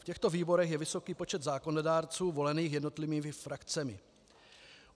V těchto výborech je vysoký počet zákonodárců volených jednotlivými frakcemi.